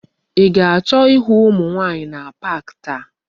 I ga-acho ihu umu nwaanyi na pak taa?